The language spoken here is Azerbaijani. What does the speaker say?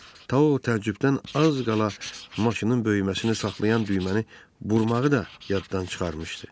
Tau təəccübdən az qala maşının böyüməsini saxlayan düyməni burmağı da yaddan çıxarmışdı.